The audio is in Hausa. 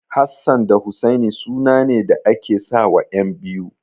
Hassan da Husaini sunane da ake sawa ƴan biyu.